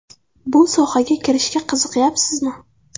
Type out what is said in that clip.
Bu sohaga kirishga qiziqayapsizmi?